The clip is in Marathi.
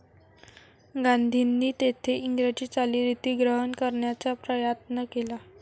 गांधींनी तेथे इंग्रजी चालीरीती ग्रहण करण्याचा प्रयात्न केला.